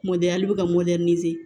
Mɔdɛli bɛ ka